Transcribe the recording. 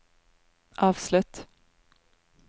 avslutt